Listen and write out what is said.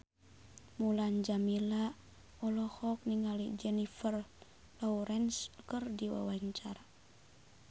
Mulan Jameela olohok ningali Jennifer Lawrence keur diwawancara